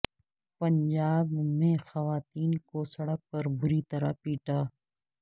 پنجاب میں خواتین کو سڑک پر بری طرح پیٹا